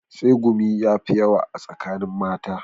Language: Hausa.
Tsegumi ya fi yawa a tsakanin mata